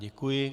Děkuji.